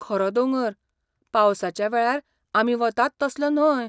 खरो दोंगर, पावसाच्या वेळार आमी वतात तसलो न्हय.